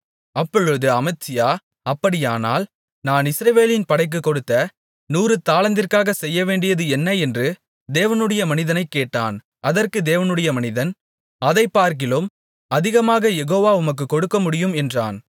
அப்பொழுது அமத்சியா அப்படியானால் நான் இஸ்ரவேலின் படைக்குக் கொடுத்த நூறு தாலந்திற்காகச் செய்யவேண்டியது என்ன என்று தேவனுடைய மனிதனைக் கேட்டான் அதற்கு தேவனுடைய மனிதன் அதைப்பார்க்கிலும் அதிகமாகக் யெகோவா உமக்குக் கொடுக்கமுடியும் என்றான்